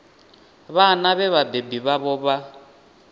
vhana vhe vhabebi vhavho vha